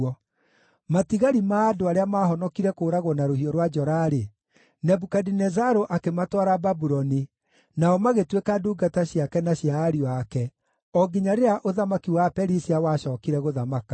Matigari ma andũ arĩa maahonokire kũũragwo na rũhiũ rwa njora-rĩ, Nebukadinezaru akĩmatwara Babuloni, nao magĩtuĩka ndungata ciake na cia ariũ ake, o nginya rĩrĩa ũthamaki wa Perisia wacookire gũthamaka.